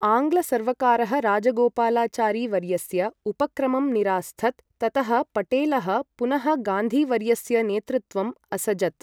आङ्ग्ल सर्वकारः राजगोपालचारी वर्यस्य उपक्रमं निरास्थत्, ततः पटेलः पुनः गान्धि वर्यस्य नेतृत्वम् असजत्।